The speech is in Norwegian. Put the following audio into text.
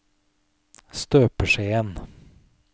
støpeskjeen